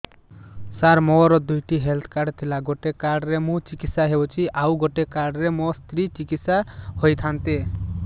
ସାର ମୋର ଦୁଇଟି health card ଥିଲା ଗୋଟେ କାର୍ଡ ରେ ମୁଁ ଚିକିତ୍ସା ହେଉଛି ଆଉ ଗୋଟେ କାର୍ଡ ରେ ମୋ ସ୍ତ୍ରୀ ଚିକିତ୍ସା ହୋଇଥାନ୍ତେ